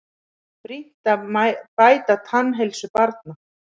Brýnt að bæta tannheilsu barna